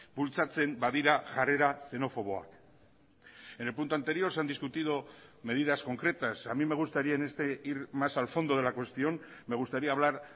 bultzatzen badira jarrera xenofoboak en el punto anterior se han discutido medidas concretas a mí me gustaría en este ir más al fondo de la cuestión me gustaría hablar